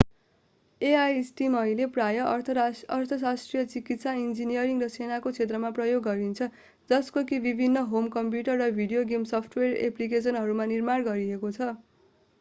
AI system अहिले प्राय अर्थशास्त्र चिकित्सा इन्जिनियरिङ र सेनाको क्षेत्रमा प्रयोग गरिन्छ जस्तो कि विभिन्न होम कम्प्युटर र भिडियो गेम सफ्टवेयर एप्लिकेसनहरूमा निर्माण गरिएको छ